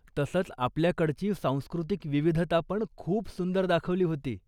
तसंच, आपल्याकडची सांस्कृतिक विविधतापण खूप सुंदर दाखवली होती.